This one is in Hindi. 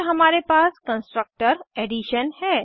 फिर हमारे पास कन्स्ट्रक्टर एडिशन है